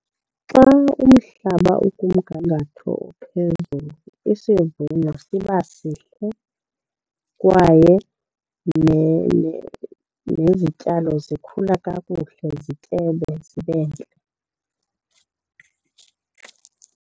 Xa umhlaba ukumgangatho ophezulu isivuno siba sihle kwaye nezityalo zikhula kakuhle zityebe zibe ntle.